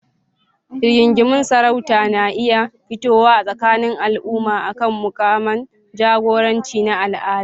Rigingimun sarauta na iya fitowa a tsakanin al'umma akan mukaman jagoranci na al'ada.